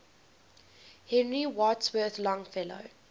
henry wadsworth longfellow